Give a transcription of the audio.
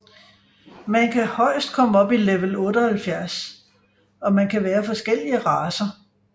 Man kan højest komme op i level 78 og man kan være forskellige racer